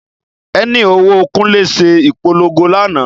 Ẹni òwò Kunle se ìpolongo lánàá